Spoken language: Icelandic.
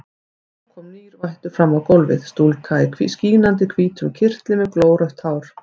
Nú kom nýr vættur fram á gólfið, stúlka í skínandi hvítum kyrtli með glórautt hár.